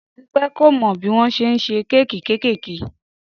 Dúpẹ́ kò mọ bí wọ́n ṣe ń ṣe kéèkì kéékèèké